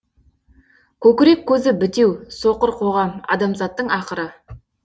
көкірек көзі бітеу соқыр қоғам адамзаттың ақыры